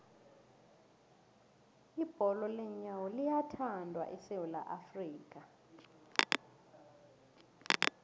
ibholo leenyawo liyathandwa esewula afrika